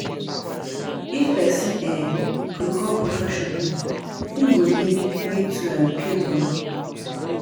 If person um go call professional im go need to pay money